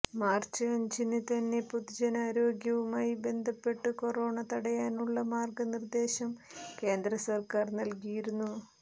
March അഞ്ചിന് തന്നെ പൊതുജനാരോഗ്യവുമായി ബന്ധപ്പെട്ടു കൊറോണ തടയാനുള്ള മാർഗ നിർദ്ദേശം കേന്ദ്ര സർക്കാർ നൽകിയിരുന്നു